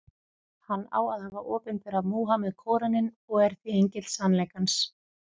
Hann á að hafa opinberað Múhameð Kóraninn, og er því engill sannleikans.